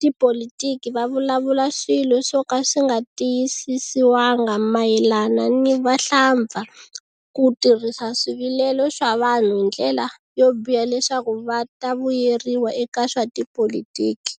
tipolitiki va vulavula swilo swo ka swinga tiyisisiwanga mayelana ni vahlampfa ku tirhisa swivilelo swa vanhu hi ndlela yo biha leswaku va ta vuyeriwa eka swa tipolitiki.